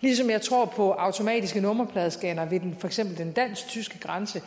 ligesom jeg tror på automatiske nummerpladescannere ved for eksempel den dansk tyske grænse